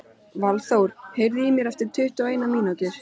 Valþór, heyrðu í mér eftir tuttugu og eina mínútur.